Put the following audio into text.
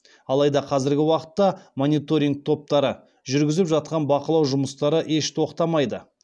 алайда қазіргі уақытта мониторинг топтары жүргізіп жатқан бақылау жұмыстары еш тоқтамайды